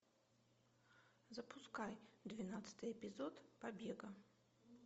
запускай двенадцатый эпизод побега